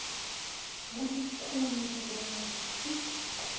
kulikhuni kubona kutsi